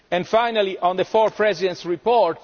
work. Finally, on the four Presidents' report.